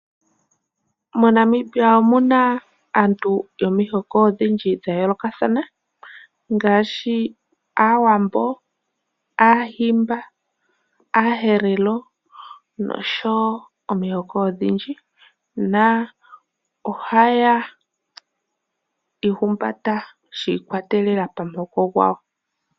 MoNamibia omuna aantu yomihoko odhindji dhayoolokathana ngaashi aawambo, aahimba, aaherero osho woo omihoko odhindji na ohaya ihumbata shiikwatelela pamuhoko gwawo.